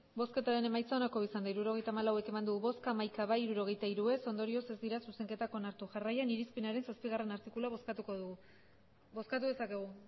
hirurogeita hamalau eman dugu bozka hamaika bai hirurogeita hiru ez ondorioz ez dira zuzenketan onartu jarraian irizpenaren zazpigarrena artikulua bozkatuko dugu bozkatu dezakegu